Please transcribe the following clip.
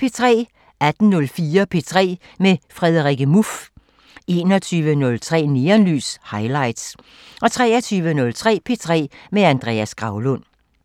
18:04: P3 med Frederikke Muff 21:03: Neonlys – Highlights 23:03: P3 med Andreas Graulund